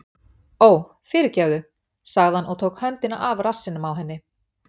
Ó, fyrirgefðu- sagði hann og tók höndina af rassinum á henni.